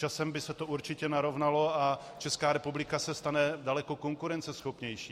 Časem by se to určitě narovnalo, a Česká republika se stane daleko konkurenceschopnější.